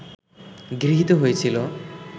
গৃহীত হয়েছিল